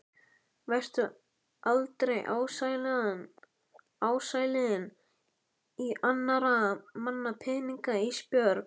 Vertu aldrei ásælin í annarra manna peninga Ísbjörg.